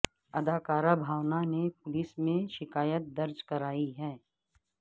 اداکارہ بھاونا نے پولیس میں شکایت درج کرائی ہے